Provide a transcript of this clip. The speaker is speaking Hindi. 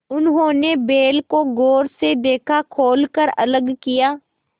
उन्होंने बैल को गौर से देखा खोल कर अलग किया